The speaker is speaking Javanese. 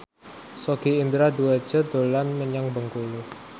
Sogi Indra Duaja dolan menyang Bengkulu